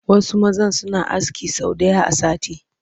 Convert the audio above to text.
Wasu mazan suna aski sau ɗaya a sati